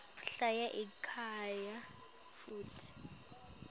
hlala ekhaya futsi